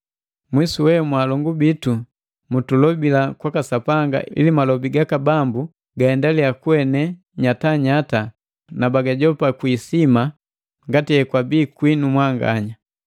Mwisu we mwaalongu bitu mutulobila kwaka Sapanga ili Malobi gaka Bambu gaendalia kuene nyatanyata na bagajopa kwi isima ngati hekwabi kwinu mwanganya.